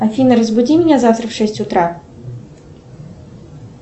афина разбуди меня завтра в шесть утра